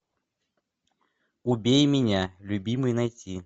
убей меня любимый найти